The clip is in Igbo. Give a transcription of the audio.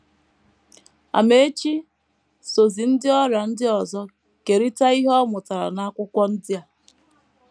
Amaechi sozi ndị ọrịa ndị ọzọ kerịta ihe ọ mụtara n’akwụkwọ ndị a.